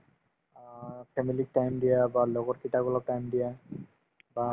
অ, family ক time দিয়া বা লগৰকিটাক অলপ time দিয়া বা